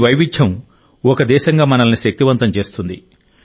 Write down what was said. ఈ వైవిధ్యం ఒక దేశంగా మనల్ని శక్తివంతం చేస్తుంది